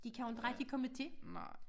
De kan jo inte rigtig komme til